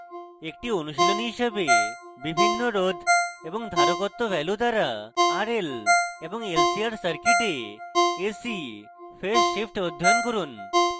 একটি অনুশীলনী হিসেবে বিভিন্ন রোধ এবং ধারকত্ব ভ্যালু দ্বারা rl এবং lcr সার্কিটে ac ফেজ শিফ্ট অধ্যয়ন করুন